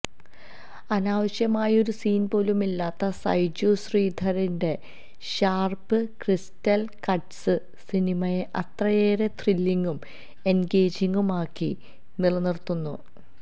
അനാവശ്യമായൊരു സീൻപോലുമില്ലാത്ത സൈജു ശ്രീധറിന്റെ sharp crystal cuts സിനിമയെ അത്രയേറെ ത്രില്ലിങ്ങും എൻഗേജിങ്ങും ആക്കി നിലനിർത്തുന്നു